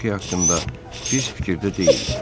Voque haqqında pis fikirdə deyillər.